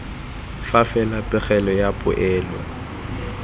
fa fela pegelo ya poelo